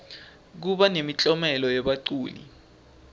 kuba nemiklomelo yebaculi